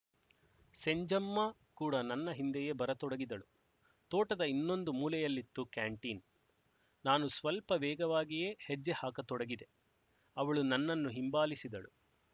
ಸೆಂಜಮ್ಮಾ ಕೂಡ ನನ್ನ ಹಿಂದೆಯೇ ಬರತೊಡಗಿದಳು ತೋಟದ ಇನ್ನೊಂದು ಮೂಲೆಯಲ್ಲಿತ್ತು ಕ್ಯಾಂಟೀನ್ ನಾನು ಸ್ವಲ್ಪ ವೇಗವಾಗಿಯೇ ಹೆಜ್ಜೆ ಹಾಕತೊಡಗಿದೆ ಅವಳು ನನ್ನನ್ನು ಹಿಂಬಾಲಿಸಿದಳು